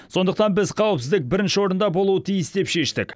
сондықтан біз қауіпсіздік бірінші орында болуы тиіс деп шештік